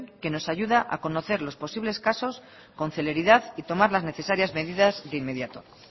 que nos ayuda a conocer los posibles casos con celeridad y tomar las necesarias medidas de inmediato